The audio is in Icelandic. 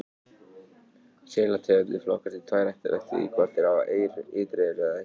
Selategundir flokkast í tvær ættir eftir því hvort þær hafa ytri eyru eða ekki.